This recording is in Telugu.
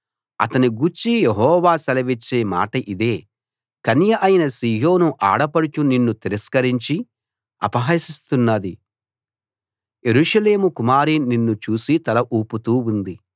అతని గూర్చి యెహోవా సెలవిచ్చే మాట ఇదే కన్య అయిన సీయోను ఆడపడుచు నిన్ను తిరస్కరించి అపహసిస్తున్నది యెరూషలేము కుమారి నిన్ను చూసి తల ఊపుతూ ఉంది